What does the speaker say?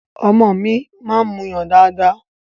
Ọmọ mi máa ń muyàn dáadáa.